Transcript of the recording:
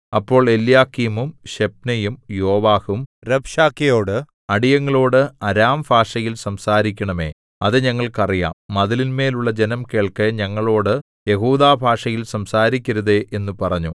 അപ്പോൾ എല്യാക്കീമും ശെബ്നയും യോവാഹും രബ്ശാക്കേയോട് അടിയങ്ങളോട് അരാംഭാഷയിൽ സംസാരിക്കണമേ അത് ഞങ്ങൾക്ക് അറിയാം മതിലിന്മേലുള്ള ജനം കേൾക്കെ ഞങ്ങളോടു യെഹൂദാഭാഷയിൽ സംസാരിക്കരുതേ എന്നു പറഞ്ഞു